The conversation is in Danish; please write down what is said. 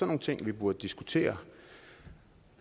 nogle ting vi burde diskutere